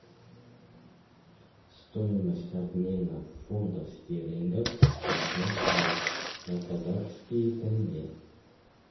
стоимость обмена фунтов стерлингов в москве на казахские тенге